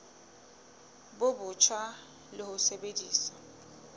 bo botjha le ho sebedisa